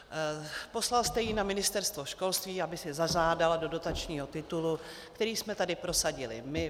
Poslal jste ji na Ministerstvo školství, aby si zažádala do dotačního titulu, který jsme tady prosadili my.